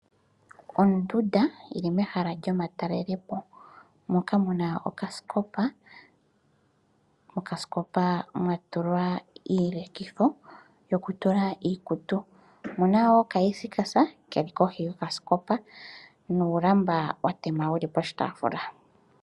Ondunda oyili mehala lyomatalelepo moka muna okasikopa, mokasikopa mwa tulwa uulekitho wokutula iikutu. Omuna wo okila yili kohi yokasikopa nuulamba watema wuli poshitaafula.